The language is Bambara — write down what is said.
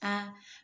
Aa